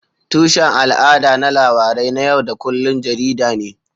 Tushen al'ada na labarai na yau da kullun jarida ne.